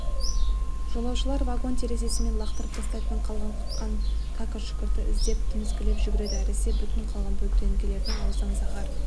жолаушылар вагон терезесімен лақтырып тастайтын қалған-құтқан кәкір-шүкірді іздеп тіміскілеп жүгіреді әсіресе бүтін қалған бөтелкелердің аузынан заһар